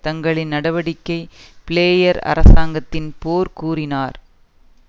தங்களின் நடவடிக்கை பிளேயர் அரசாங்கத்தின் போர் கூறினார்